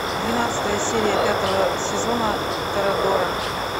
двенадцатая серия пятого сезона торадора